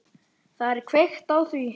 Það er kveikt á því.